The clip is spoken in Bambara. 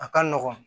A ka nɔgɔn